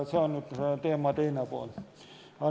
See on nüüd teema teine pool.